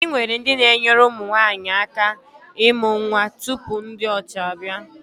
Anyị nwere ndị na-enyere ụmụ nwaanyi aka imụ nnwa tupu ndị ọcha abịa.